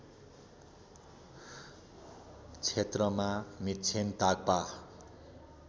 क्षेत्रमा मिक्षेन टाग्पा